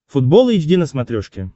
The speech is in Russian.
футбол эйч ди на смотрешке